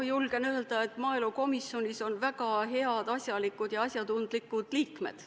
Ma julgen öelda, et maaelukomisjonis on väga head, asjalikud ja asjatundlikud liikmed.